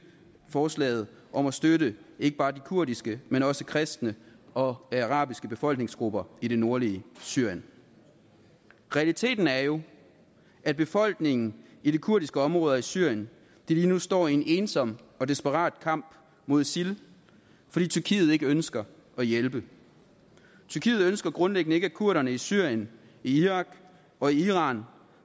forslaget om at støtte ikke bare de kurdiske men også de kristne og arabiske befolkningsgrupper i det nordlige syrien realiteten er jo at befolkningen i de kurdiske områder i syrien lige nu står i en ensom og desperat kamp mod isil fordi tyrkiet ikke ønsker at hjælpe tyrkiet ønsker grundlæggende ikke at kurderne i syrien irak og iran